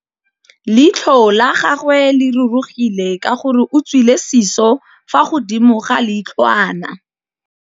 Leitlhô la gagwe le rurugile ka gore o tswile sisô fa godimo ga leitlhwana.